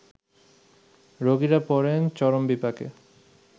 রোগীরা পড়েন চরম বিপাকে